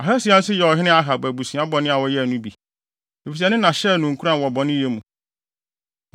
Ahasia nso yɛɛ ɔhene Ahab abusua bɔne a wɔyɛe no bi, efisɛ ne na hyɛɛ no nkuran wɔ bɔneyɛ mu.